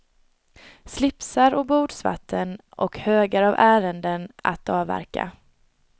Slipsar och bordsvatten och högar av ärenden att avverka.